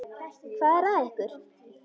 Hvað er að ykkur?